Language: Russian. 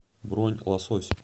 бронь лосось